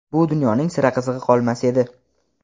bu dunyoning sira qizig‘i qolmas edi.